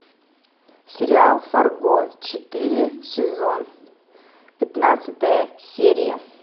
сериал фарго четыре сезон пятнадцатая серия